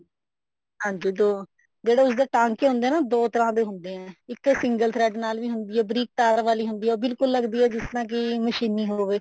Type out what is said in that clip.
ਹਾਂਜੀ ਦੋ ਜਿਹੜੇ ਉਸਦੇ ਟਾਂਕੇ ਹੁੰਦੇ ਆ ਨਾ ਦੋ ਤਰ੍ਹਾਂ ਦੇ ਹੁੰਦੇ ਆ ਇੱਕ single thread ਨਾਲ ਵੀ ਹੁੰਦੀ ਹੈ ਬਰੀਕ ਤਾਰ ਵਾਲੀ ਹੁੰਦੀ ਹੈ ਉਹ ਬਿਲਕੁਲ ਲੱਗਦੀ ਹੈ ਜਿਸ ਤਰ੍ਹਾਂ ਕੀ ਮਸ਼ੀਨੀ ਹੋਵੇ